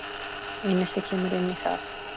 Einelti kemur inn í það.